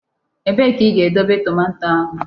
Ebee ka ị ga-edobe tomato ahụ?